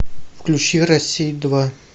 включи россия два